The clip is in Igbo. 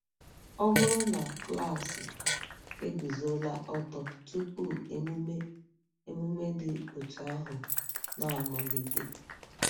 Ọ bụrụ na klaasị eguzola ọtọ tupu emume emume dị otú ahụ na-amalite?